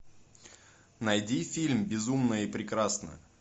найди фильм безумная и прекрасная